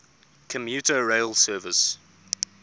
commuter rail service